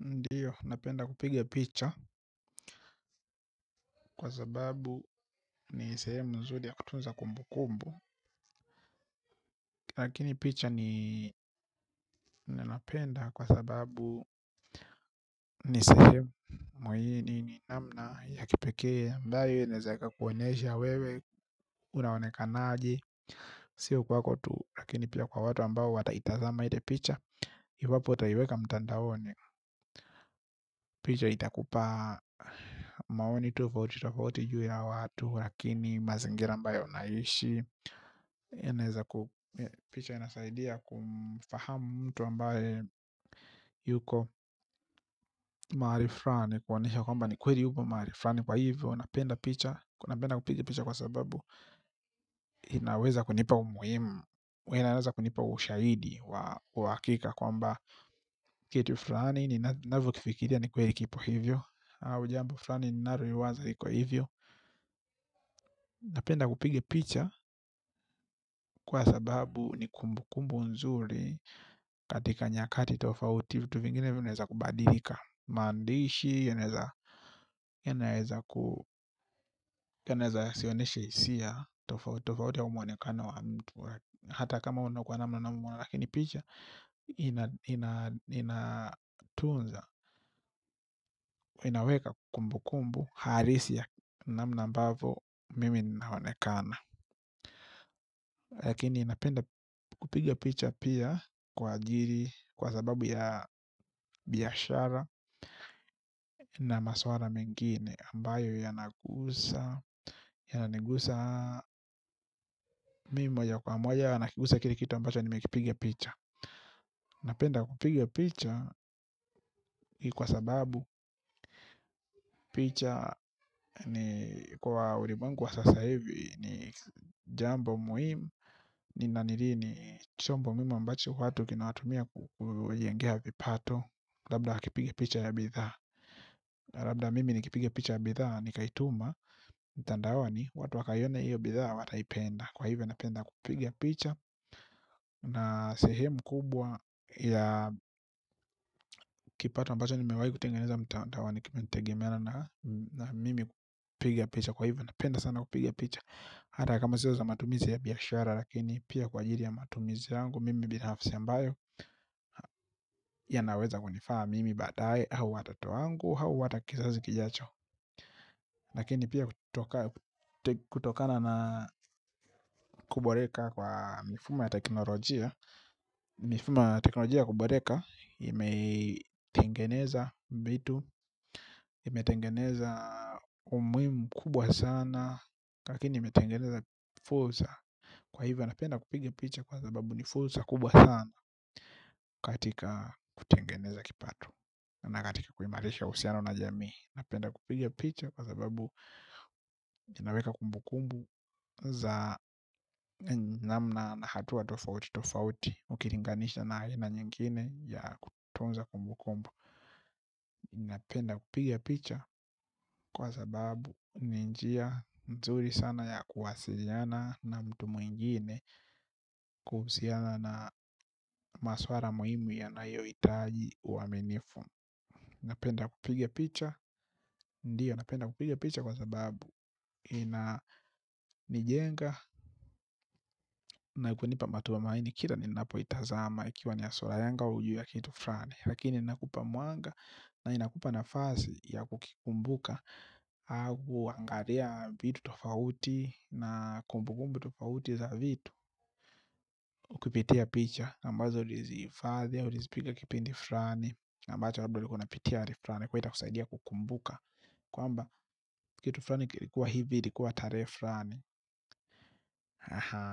Ndiyo, napenda kupiga picha kwa sababu ni sehemu mzuri ya kutunza kumbu kumbu. Lakini picha ni ninapenda kwa sababu ni sehemu ni namna ya kipekee ambayo inaeza ikakuonyesha wewe, unaonekanaji. Sio kwako tu, lakini pia kwa watu ambao wataitazama ile picha. Iwapo utaiweka mtandaoni picha itakupa maoni tofauti tofauti juu ya watu. Lakini mazingira ambayo unaishi picha inasaidia kufahamu mtu ambaye yuko maali frani. Kuonesha kwamba ni kweri huko maalifrani kwa hivyo napenda kupiga picha kwa sababu inaweza kunipa umuhimu unaweza kunipa ushaidi wa hakika kwamba kitu frani ni navyo kifikitia ni kweri kipo hivyo ujambo fulani ninaro iwaza iko hivyo. Napenda kupiga picha kwa sababu ni kumbu kumbu nzuri. Katika nyakati tofauti vitu vingine vinaweza kubadilika. Maandishi yenaweza yaneeza yasioneshe hisia. Tofauti au mwonekano wa mtu. Hata kama unakua na mwana umuane. Lakini picha Inatunza Inaweka kumbu kumbu halisi ya namna ambavo mimi naonekana lakini napenda kupiga picha pia kwa ajiri kwa sababu ya biashara na maswara mengine ambayo yanagusa yananigusa mi moya kwa moya yanagusa kile kitu ambacho nime kipiga picha napenda kupiga picha kwa sababu picha kwa urimwengu wa sasa hivi ni jambo muhimu ni nanirini chombo mi muimu ambacho watu kina watumia kujengea vipato. Labda wakipiga picha ya bidhaa labda mimi nikipiga picha ya bidhaa Nikaituma Mutandaoni watu wakaione hiyo bidhaa. Wataipenda kwa hivyo napenda kupiga picha. Na sehemu kubwa ya kipato ambacho nimewai kutengeneza mtandaoni kimetegimeana na mimi kupigia picha kwa hivyo napenda sana kupigia picha. Hata kama siyo za matumizi ya biashara. Lakini pia kwa ajiri ya matumizi yangu. Mimi binahafisi ambayo yanaweza kunifaa mimi baadaye hau watoto wangu, hau hata kizazi kijacho lakini pia kutokana na kuboreka kwa mifumo ya teknolojia mifumo ya teknolojia ya kuboreka imetengeneza mbitu imetengeneza umuhimu kubwa sana lakini imetengeneza fulsa kwa hivyo napenda kupige picha kwa zababu nifulsa kubwa sana katika kutengeneza kipato. Na katika kuimarisha uhusiano na jamii. Napenda kupiga picha kwa sababu zinaweka kumbu kumbu za namna na hatua tofauti tofauti. Ukilinganisha na aina nyingine ya kutunza kumbu kumbu. Napenda kupigia picha kwa sababu ni njia nzuri sana ya kuwasiliana. Na mtu mwingine. Kuhusana na maswara muhimu yanayohitaji uwaminifu. Napenda kupiga picha. Ndiyo, napenda kupiga picha kwa sababu inanijenga na kunipa matumaini Kira ninapoitazama ikiwa nia sula yangu au ju ya kitu frani. Lakini inakupa mwanga. Na inakupa nafasi ya kukikumbuka. Au angaria vitu tofauti na kumbukumbu tofauti za vitu kipitia picha ambazo ulizifadhi au ulizipiga kipindi frani ambazo ulipitia hali frani. Kuwa itakusaidia kukumbuka kwamba kitu frani kilikuwa hivi ilikuwa tarehe frani